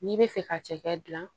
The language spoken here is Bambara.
N'i bɛ fɛ ka cɛkɛ dilan